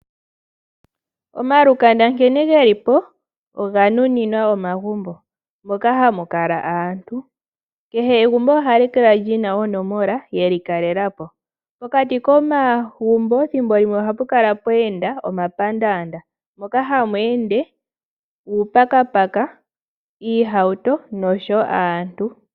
Omalukanda nkene gelipo oga nuninwa omagumbo moka hamu kala aantù, kehe egumbo ohali kala lina onomola yalyo. Pokati komagumbo thimbo limwe ohapu kala pweenda momapandanda moka hamu ende aantu nenge uupakapaka.